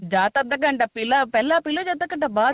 ਜਾਂ ਤਾਂ ਅੱਧਾ ਘੰਟਾ ਪਹਿਲਾਂ ਪੀਲੋ ਜਾਂ ਅੱਧਾ ਘੰਟਾ